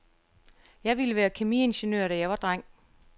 Jeg ville være kemiingeniør, da jeg var dreng.